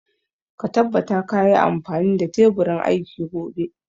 Ka tabbata ka yi amfani da teburin aiki gobe